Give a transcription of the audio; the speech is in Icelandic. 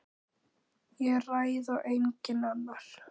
Ég ræð og enginn annar.